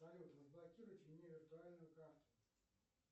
салют разблокируйте мне виртуальную карту